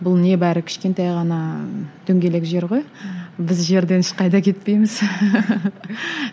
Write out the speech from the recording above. бұл небәрі кішкентай ғана дөңгелек жер ғой біз жерден ешқайда кетпейміз